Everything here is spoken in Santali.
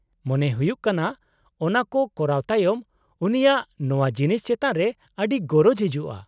-ᱢᱚᱱᱮ ᱦᱩᱭᱩᱜ ᱠᱟᱱᱟ ᱚᱱᱟ ᱠᱚ ᱠᱚᱨᱟᱣ ᱛᱟᱭᱚᱢ ᱩᱱᱤᱭᱟᱜ ᱱᱚᱶᱟ ᱡᱤᱱᱤᱥ ᱪᱮᱛᱟᱱ ᱨᱮ ᱟᱹᱰᱤ ᱜᱚᱨᱚᱡ ᱦᱤᱡᱩᱜᱼᱟ ᱾